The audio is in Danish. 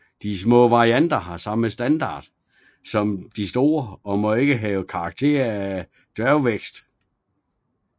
De små varianter har samme standard som de store og må ikke have karakter af dværgvækst